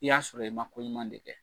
I y'a sɔrɔ i ma ko ɲuman de kɛ.